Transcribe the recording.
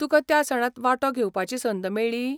तुका त्या सणांत वांटो घेवपाची संद मेळ्ळी?